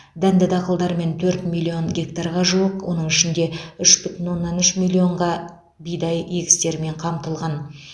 дәнді дақылдармен төрт миллион гектарға жуық оның ішінде үш бүтін оннан үш миллионға бидай егістерімен қамтылған